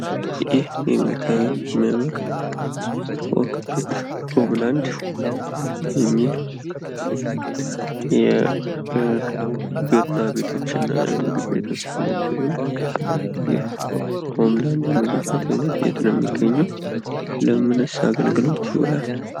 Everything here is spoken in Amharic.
ይህ የሚታየው የሚያምር ፎቅ ቤት ሆም ላንድ የሚል የቤርና ቤቶችና የምግብ ቤቶች አይነት ሲሆን፤ የሆም ላንድ የምግብ ቤት አይነት የት ነው የሚግርኘው? ለምንስ አገልግሎት ይውላል?